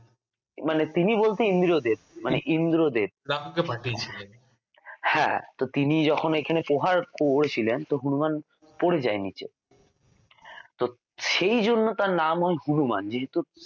মানে তিনি বলতে ইন্দ্রদেব মানে ইন্দ্রদেব হ্যাঁ তো তিনি যখন এখানে প্রহার করেছিলেন তো হনুমান পড়ে যায় নীচে তো সেইজন্য তাঁর নাম হয় হনুমান